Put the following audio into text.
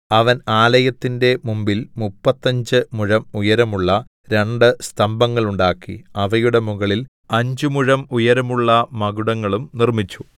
അവൻ ആലയത്തിന്റെ മുമ്പിൽ മുപ്പത്തഞ്ചു മുഴം ഉയരമുള്ള രണ്ടു സ്തംഭങ്ങളുണ്ടാക്കി അവയുടെ മുകളിൽ അഞ്ച് മുഴം ഉയരമുള്ള മകുടങ്ങളും നിർമ്മിച്ചു